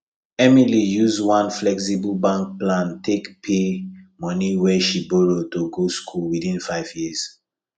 emily use one flexible bank plan take pay money wey she borrow to go school within 5 years